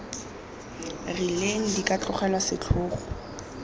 rileng di ka tlogelwa setlhogo